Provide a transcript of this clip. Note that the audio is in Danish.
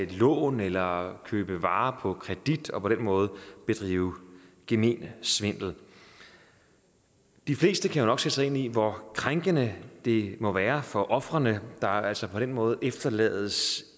lån eller købe varer på kredit og på den måde bedrive gemen svindel de fleste kan jo nok sætte sig ind i hvor krænkende det må være for ofrene der altså på den måde efterlades